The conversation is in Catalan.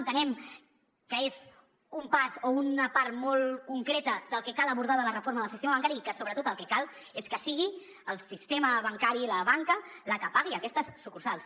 entenem que és un pas o una part molt concreta del que cal abordar de la reforma del sistema bancari i que sobretot el que cal és que sigui el sistema bancari i la banca la que pagui aquestes sucursals